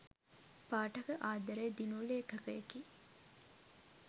පාඨක ආදරය දිනූ ‍ලේඛකයෙකි.